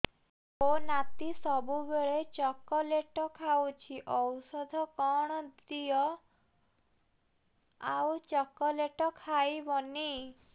ମୋ ନାତି ସବୁବେଳେ ଚକଲେଟ ଖାଉଛି ଔଷଧ କଣ ଦିଅ ଆଉ ଚକଲେଟ ଖାଇବନି